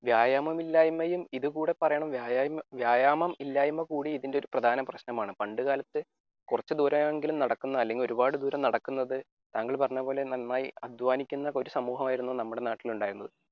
വ്യായാമം ഇല്ലായ്മയും ഇതുകൂടി പറയണം വ്യായാമം ഇല്ലായ്മ കൂടി ഇതിന്റെ പ്രധാന ഒരു പ്രശ്നമാണ് പണ്ടുകാലത്തു കുറച്ചു ദൂരമെങ്കിലും നടക്കുന്നത് അല്ലെങ്കിൽ ഒരുപാട് ദൂരം നടക്കുന്നത് താങ്കൾ പറഞ്ഞപോലെ നന്നായി അധ്വാനിക്കുന്ന ഒരു സമൂഹമായിരുന്നു നമ്മുടെ നാട്ടിൽ ഉണ്ടായിരുന്നത്